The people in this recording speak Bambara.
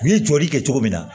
U ye jɔli kɛ cogo min na